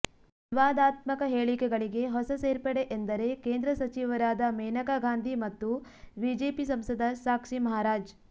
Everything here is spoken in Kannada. ವಿವಾದಾತ್ಮಕ ಹೇಳಿಕೆಗಳಿಗೆ ಹೊಸ ಸೇರ್ಪಡೆ ಎಂದರೆ ಕೇಂದ್ರ ಸಚಿವರಾದ ಮೇನಕಾ ಗಾಂಧಿ ಮತ್ತು ಬಿಜೆಪಿ ಸಂಸದ ಸಾಕ್ಷಿ ಮಹಾರಾಜ್